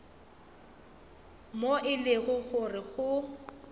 moo e lego gore go